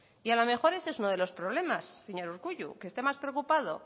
y a lo mejor ese es uno de los problemas señor urkullu que esté más preocupado